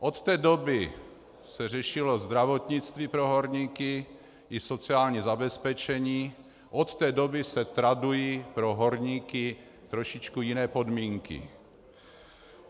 Od té doby se řešilo zdravotnictví pro horníky i sociální zabezpečení, od té doby se tradují pro horníky trošičku jiné podmínky.